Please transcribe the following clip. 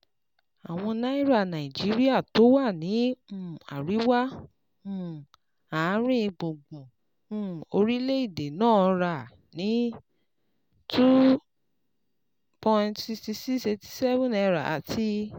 Àwọn ará Nàìjíríà tó wà ní um àríwá um àárín gbùngbùn um orílẹ̀-èdè náà rà á ní N two thousand sixty six point eight seven àti